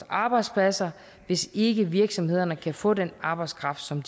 arbejdspladser hvis ikke virksomhederne kan få den arbejdskraft som